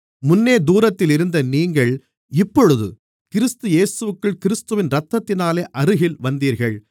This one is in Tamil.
முன்னே தூரத்தில் இருந்த நீங்கள் இப்பொழுது கிறிஸ்து இயேசுவிற்குள் கிறிஸ்துவின் இரத்தத்தினாலே அருகில் வந்தீர்கள்